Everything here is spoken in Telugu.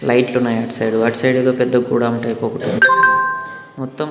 లైట్ లు ఉన్నాయి అటు సైడ్ అటు సైడ్ లో పెద్ద గోడం టైపు ఒకటుంది మొత్తం.